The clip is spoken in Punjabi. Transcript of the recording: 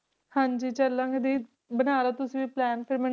ਹਾਂਜੀ ਚੱਲਾਂਗੇ ਦੀ ਬਣਾ ਲਓ ਤੁਸੀਂ ਵੀ plan ਫਿਰ ਮੈਨੂੰ